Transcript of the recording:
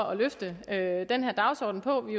at løfte den her dagsorden på vi